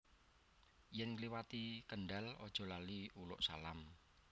Yen ngliwati Kendal ojo lali uluk salam